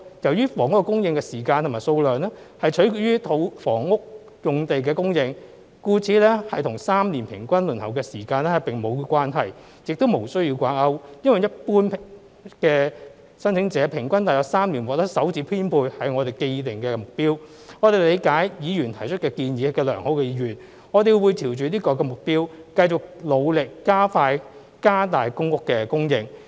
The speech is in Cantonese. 由於房屋供應的時間和數量取決於房屋用地的供應，故此與3年平均輪候時間並無關係，亦無須要掛鈎，因為一般的申請者平均約3年獲得首次編配是我們的既定目標，我們理解議員提出的建議有良好意願，我們會朝着這個目標繼續努力，加快、加大公屋的供應。